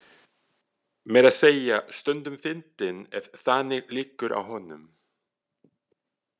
Meira að segja stundum fyndinn ef þannig liggur á honum.